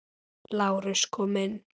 LÁRUS: Kom inn!